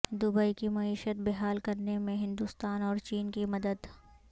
Dubai کی معیشت بحال کرنے میں ہندوستان اور چین کی مدد